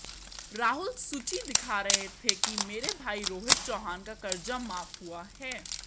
राहुल सूची दिखा रहे थे कि मेरे भाई रोहित चौहान का कर्जा माफ हुआ है